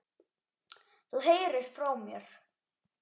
Þú heyrir frá mér.